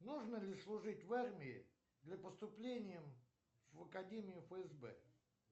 нужно ли служить в армии для поступления в академию фсб